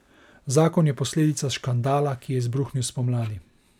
Zakon je posledica škandala, ki je izbruhnil spomladi.